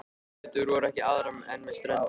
Götur voru ekki aðrar en með ströndinni.